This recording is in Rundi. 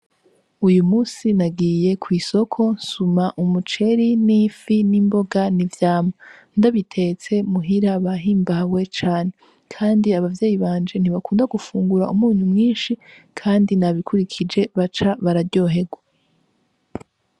Uyu musi nagiye kw'isoko nsuma umuceri n'ifi n'imboga n'ivyamwa. Ndabitetse muhira bahimbawe cane kandi abavyeyi banjye ntibakunda gufungura umunyu mwinshi kandi nabikurikije baca bararyoherwa.